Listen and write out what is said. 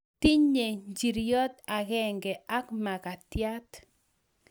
Tinyei njiriot akenge ak makatiat